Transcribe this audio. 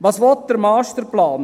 Was will der Masterplan?